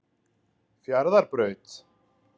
Fjarðarbraut